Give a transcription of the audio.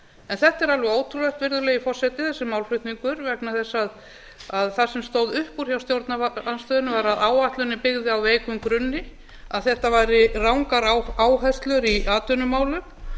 en þetta er alveg ótrúlegt virðulegi forseti þessi málflutningur vegna þess að það sem stóð upp úr hjá stjórnarandstöðunni var að áætlunin byggði á veikum grunni að þetta væru rangar áherslur í atvinnumálum